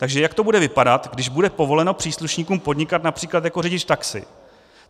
Takže jak to bude vypadat, když bude povoleno příslušníkům podnikat například jako řidič taxi?